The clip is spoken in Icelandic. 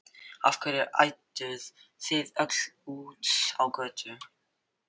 Af hverju ædduð þið öll út á götu?